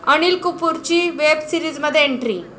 अनिल कपूरची वेब सीरिजमध्ये एंट्री